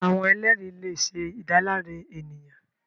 Awọn ẹlẹri le ṣe idalare eniyan